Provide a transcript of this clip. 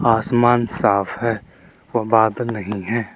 आसमान साफ है और बादल नहीं हैं।